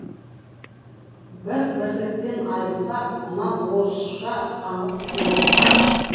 бір бірліктен айрылсақ мына орысша қаңғып кетеміз